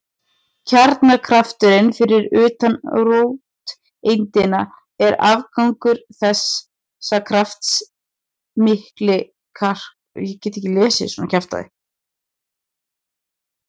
Kjarnakrafturinn fyrir utan róteindina er afgangur þessa krafts milli kvarkanna.